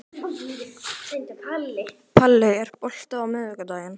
Palli, er bolti á miðvikudaginn?